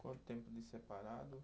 Quanto tempo de separado?